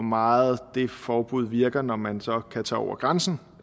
meget det forbud virker når man så kan tage over grænsen